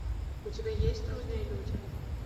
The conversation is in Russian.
у тебя есть трудные люди